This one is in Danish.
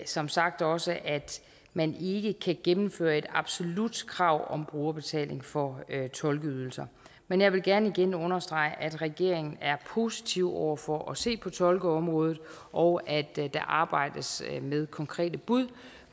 som sagt også at man ikke kan gennemføre et absolut krav om brugerbetaling for tolkeydelser men jeg vil gerne igen understrege at regeringen er positiv over for at se på tolkeområdet og at der arbejdes med konkrete bud